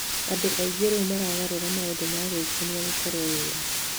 Andũ aingĩ rĩu maragarũra maũndũ ma gwĩkenia gũkorwo wĩra.